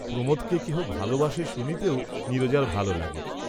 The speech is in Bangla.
প্রমাদকে কেহ ভালবাসে শুনিতেও নীরজার ভাল লাগে।